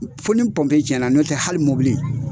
Fo ni pɔnpe tiɲɛna nɔntɛ hali mobili